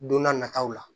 Don n'a nataw la